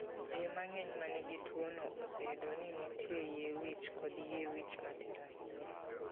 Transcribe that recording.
Ji mang'eny ma nigi tuwono, oseyudo ni nitie yie wich kod yie wich matin ahinya.